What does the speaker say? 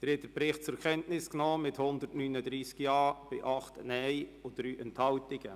Sie haben den Bericht zur Kenntnis genommen mit 139 Ja- zu 8 Nein-Stimmen bei 3 Enthaltungen.